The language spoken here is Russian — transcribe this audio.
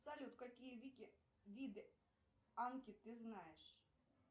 салют какие виды анки ты знаешь